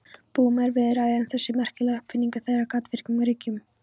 Búum en víða ræður þessi merkilega uppfinning þeirra, gaddavírinn, ríkjum.